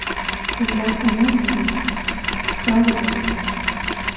Sizlar omon bo‘linglar, sog‘ bo‘linglar.